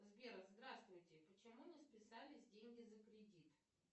сбер здравствуйте почему не списались деньги за кредит